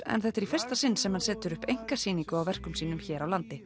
en þetta er í fyrsta sinn sem hann setur upp einkasýningu á verkum sínum hér á landi